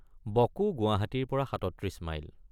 বকো গুৱাহাটীৰপৰা ৩৭ মাইল।